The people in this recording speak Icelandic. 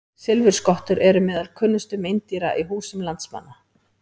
Silfurskottur eru meðal kunnustu meindýra í húsum landsmanna.